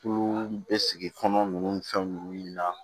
Tulu bɛ sigi kɔnɔ nunnu fɛn ninnu na